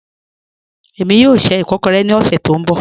Ẹ̀mi yóò ṣẹ́ ìkọ̀kọ̀rẹ̀ ni ọ̀ṣẹ̀ tó nbọ̀